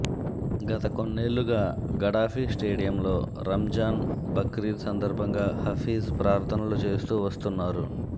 గత కొన్నేళ్లుగా గడాఫీ స్టేడియంలో రంజాన్ బక్రీద్ సందర్భంగా హఫీజ్ ప్రార్థనలు చేస్తూ వస్తున్నారు